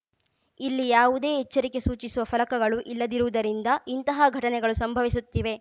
ಇಲ್ಲಿ ಯಾವುದೇ ಎಚ್ಚರಿಕೆ ಸೂಚಿಸುವ ಫಲಕಗಳು ಇಲ್ಲದಿರುವುದರಿಂದ ಇಂತಹ ಘಟನೆಗಳು ಸಂಭವಿಸುತ್ತಿವೆ